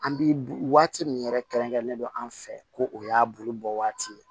An bi waati min yɛrɛ kɛrɛnkɛrɛnnen don an fɛ ko o y'a bolo bɔ waati ye